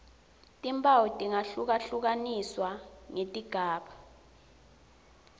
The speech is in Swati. timphawu tingahlungahlukaniswa ngetigaba